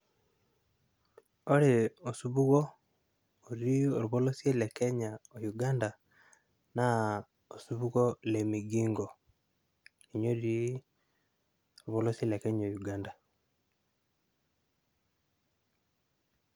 Ore osupuku, oti olpolosie le kenya o uganda na osupuko le migingo ,ninye oti olpolosie le kenya o uganda.